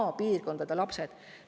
Maapiirkondade lapsed!